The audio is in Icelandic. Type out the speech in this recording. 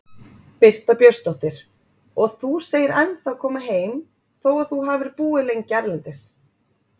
Birta Björnsdóttir: Og þú segir ennþá koma heim þó að þú hafi búið lengi erlendis?